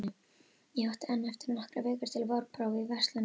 Ég átti enn eftir nokkrar vikur til vorprófa í verslunardeildinni.